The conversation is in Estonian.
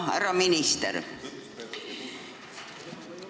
Härra minister!